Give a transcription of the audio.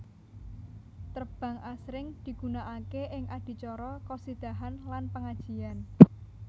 Terbang asring digunakake ing adicara khosidahan lan pengajian